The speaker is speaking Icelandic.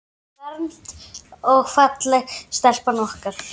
Nýfermd og falleg stelpan okkar.